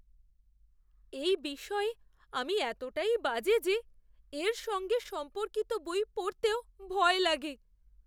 এই বিষয়ে আমি এতটাই বাজে যে এর সঙ্গে সম্পর্কিত বই পড়তেও ভয় লাগে।